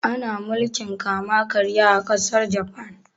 Da ana mulkin kama karya a ƙasar Jafan